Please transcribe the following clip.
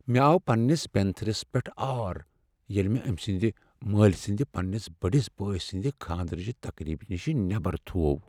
مےٚآو پنٛنس بینتھٕرس پیٹھ آر ییٚلہ مےٚ أمہِ سٕنٛدِ مٲلۍ سنٛدِ پنٛنس بٔڈِس بٲے سٕنٛدِ خانٛدرٕچہ تقریبہ نِشہِ نیبر تھوٚو۔